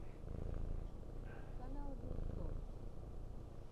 канал вил сто